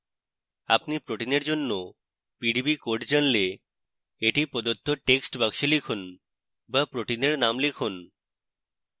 আপনি protein এর জন্য pdb code জানলে এটি প্রদত্ত text box লিখুন বা protein এর name লিখুন